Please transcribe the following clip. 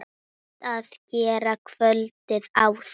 Best að gera kvöldið áður.